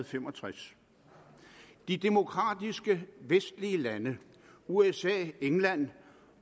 fem og tres de demokratiske vestlige lande usa england